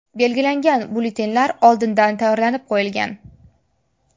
Belgilangan byulletenlar oldindan tayyorlanib qo‘yilgan.